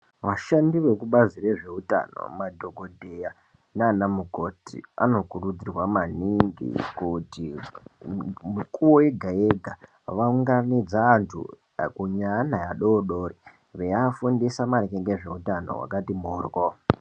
Vashandi veku bazi rezve utano madhokodheya nana mukoti ano kurudzirwa maningi kuti mikuwo yega yega va unganidza antu akuru ne ana adodori vei afundisa maringe ngezve utano hwakati moryo.